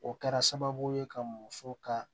O kɛra sababu ye ka muso ka